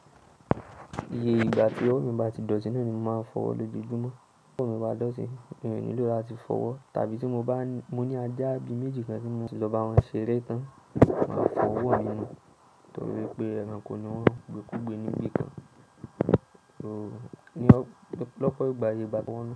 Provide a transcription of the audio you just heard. Iye ìgbà tí owó mi bá ti dọ̀tí náà ni màá n fọwọ́ lójoojúmọ́. Owó mi bá dọ̀tí, mi ò nílò láti fọwọ́. Tàbí tí mo bá ní, mo ni ajá bi méjì kan tí mo ti lọ bá wọn ṣeré tán, màá fọwọ́ mí nú. Nítorí pé ẹranko ni wọ́n, gbé kúrú gbé ní ibi kan. So ní ọpọlọpọ ìgbà yé bá ti wọ́n.